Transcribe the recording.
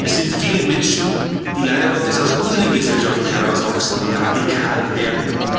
Es gibt viele Menschen, die leider Gottes aus unseren Gesellschaften herauswachsen und radikal werden.